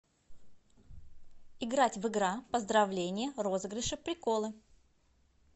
играть в игра поздравление розыгрыши приколы